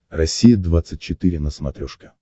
россия двадцать четыре на смотрешке